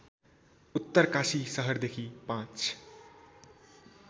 उत्तरकाशी सहरदेखि ५